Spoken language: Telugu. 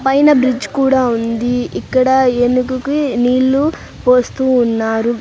పైన బ్రిడ్జి కూడా ఉంది ఇక్కడ ఏనుగు కి నీళ్లు పోస్తూ ఉన్నారు.